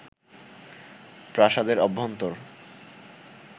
প্রাসাদের অভ্যন্তর